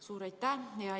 Suur aitäh!